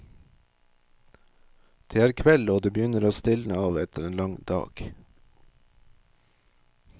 Det er kveld og det begynner å stilne av etter en lang dag.